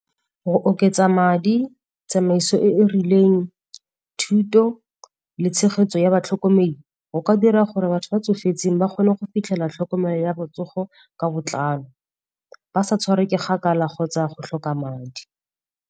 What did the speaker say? Go oketsa madi, tsamaiso e e rileng, thuto le tshegetso ya batlhokomedi go ka dira gore batho ba tsofetseng ba kgone go fitlhela tlhokomelo ya botsogo ka botlalo, ba sa tshwara ke kgakala kgotsa go tlhoka madi.